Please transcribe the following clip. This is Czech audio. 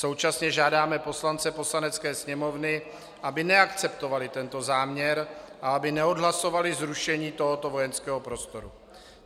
Současně žádáme poslance Poslanecké sněmovny, aby neakceptovali tento záměr a aby neodhlasovali zrušení tohoto vojenského prostoru.